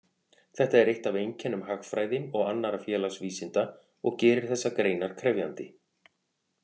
Þetta er eitt af einkennum hagfræði og annarra félagsvísinda og gerir þessar greinar krefjandi.